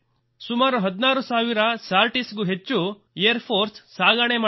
ಸುಮಾರು 16 ಸಾವಿರ ಸಾರ್ಟಿಸ್ ಗೂ ಹೆಚ್ಚು ಏರ್ ಫೋರ್ಸ್ ಸಾಗಣೆ ಮಾಡಿದೆ